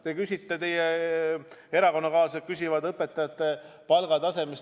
Te küsite, teie erakonnakaaslased küsivad õpetajate palga kohta.